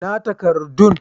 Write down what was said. Ina takardun?